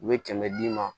U bɛ kɛmɛ d'i ma